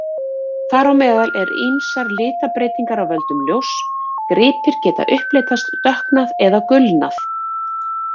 Þar á meðal eru ýmsar litabreytingar af völdum ljóss: gripir geta upplitast, dökknað eða gulnað.